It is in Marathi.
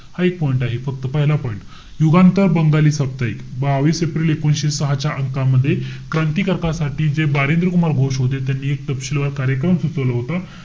हा एक point आहे. फक्त पहिला point. युगांत हे बंगाली साप्ताहिक. बावीस एप्रिल एकोणीशे सहा च्या अंका मध्ये क्रांतिकारकासाठी जे बारिंद्र कुमार घोष होते. त्यांनी एक तपशीलवार कार्यक्रम सुचवलं होता.